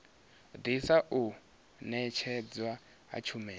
ḓisa u ṅetshedzwa ha tshumelo